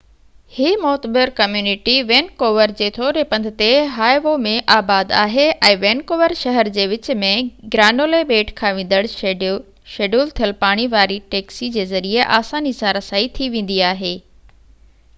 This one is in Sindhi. هي معتبر ڪميونٽي وينڪوور جي ٿوري پنڌ تي هائوو ۾ آباد آهي ۽ وينڪوور شهر جي وچ ۾ گرانولي ٻيٽ کان ويندڙ شيڊول ٿيل پاڻي واري ٽيڪسي جي ذريعي آساني سان رسائي ٿي ويندي آهي